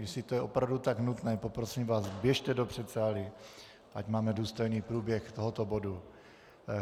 Jestli je to opravdu tak nutné, poprosím vás, běžte do předsálí, ať máme důstojný průběh tohoto bodu.